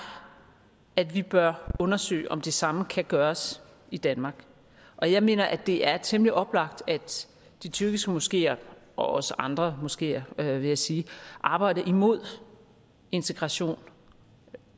at vi bør undersøge om det samme kan gøres i danmark og jeg mener det er temmelig oplagt at de tyrkiske moskeer også andre moskeer vil jeg sige arbejder imod integration